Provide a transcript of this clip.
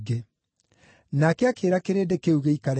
Nake akĩĩra kĩrĩndĩ kĩu gĩikare thĩ.